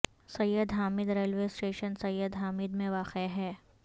سید Hamid railway station Syed Hamid میں واقع ہے